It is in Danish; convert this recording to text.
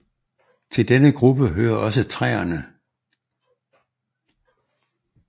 Til denne gruppe hører også træerne